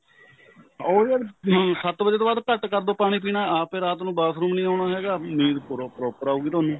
ਉਹ ਯਾਰ ਸੱਤ ਵੱਜੇ ਤੋ ਬਾਅਦ ਘੱਟ ਕਰਦੋ ਪਾਣੀ ਪੀਣਾ ਆਪ ਏ ਰਾਤ ਨੂੰ bathroom ਨਹੀਂ ਆਉਣਾ ਹੈਗਾ ਨੀਂਦ ਨੀਂਦ proper ਆਉਗੀ ਤੁਹਾਨੂੰ